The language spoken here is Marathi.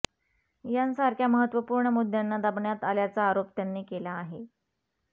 यांसारख्या महत्त्वपूर्ण मुद्द्यांना दाबण्यात आल्याचा आरोप त्यांनी केला आहे